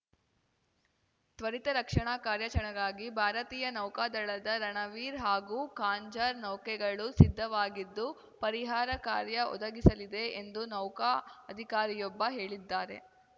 ತ್ವರಿತ ರಕ್ಷಣಾ ಕಾರ್ಯಾಚರಣೆಗಾಗಿ ಭಾರತೀಯ ನೌಕಾದಳದ ರಣವೀರ್ ಹಾಗೂ ಖಾಂಜರ್ ನೌಕೆಗಳು ಸಿದ್ಧವಾಗಿದ್ದು ಪರಿಹಾರ ಕಾರ್ಯ ಒದಗಿಸಲಿದೆ ಎಂದು ನೌಕಾ ಅಧಿಕಾರಿಯೊಬ್ಬ ಹೇಳಿದ್ದಾರೆ